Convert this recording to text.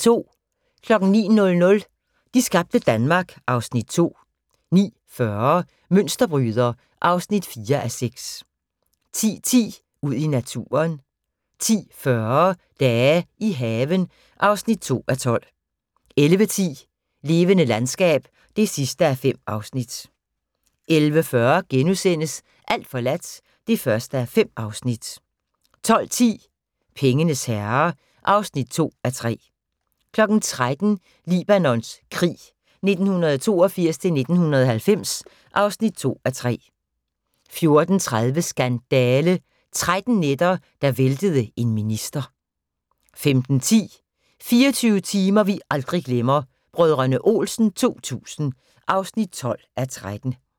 09:00: De skabte Danmark (Afs. 2) 09:40: Mønsterbryder (4:6) 10:10: Ud i naturen 10:40: Dage i haven (2:12) 11:10: Levende landskab (5:5) 11:40: Alt forladt (1:5)* 12:10: Pengenes herre (2:3) 13:00: Libanons krig 1982-1990 (2:3) 14:30: Skandale – 13 nætter der væltede en minister 15:10: 24 timer vi aldrig glemmer: Brdr. Olsen 2000 (12:13)